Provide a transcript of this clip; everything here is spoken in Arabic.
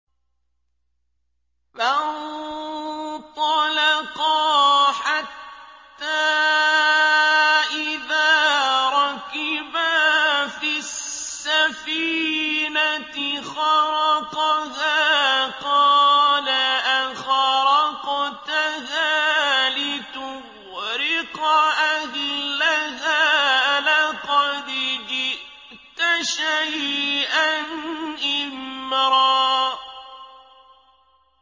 فَانطَلَقَا حَتَّىٰ إِذَا رَكِبَا فِي السَّفِينَةِ خَرَقَهَا ۖ قَالَ أَخَرَقْتَهَا لِتُغْرِقَ أَهْلَهَا لَقَدْ جِئْتَ شَيْئًا إِمْرًا